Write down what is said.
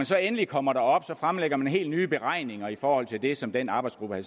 så endelig kommer derop fremlægger man helt nye beregninger i forhold til det som den arbejdsgruppe